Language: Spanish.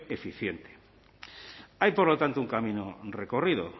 eficiente hay por lo tanto un camino recorrido